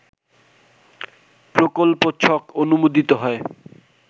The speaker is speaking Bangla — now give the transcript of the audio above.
প্রকল্প ছক অনুমোদিত হয়